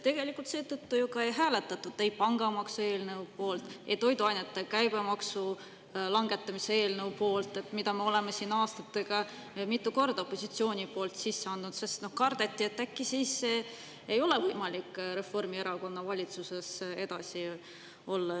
Tegelikult seetõttu ei hääletatud ei pangamaksu eelnõu poolt, et toiduainete käibemaksu langetamise eelnõu poolt, mida me oleme siin aastatega mitu korda opositsiooni poolt sisse andnud, sest kardeti, et äkki siis ei ole võimalik Reformierakonna valitsuses edasi olla.